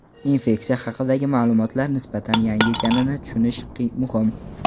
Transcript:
Infeksiya haqidagi ma’lumotlar nisbatan yangi ekanini tushunish muhim.